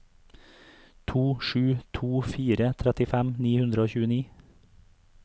to sju to fire trettifem ni hundre og tjueni